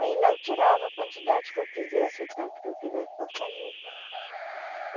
Aí lá eu tirava a quantidade que eu quisesse, o tanto que eu quisesse para fazer.